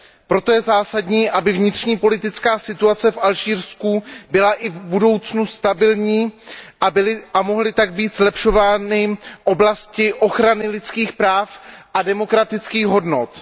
Proto je zásadní, aby vnitřní politická situace v Alžírsku byla i v budoucnu stabilní a mohly tak být zlepšovány oblasti ochrany lidských práv a demokratických hodnot.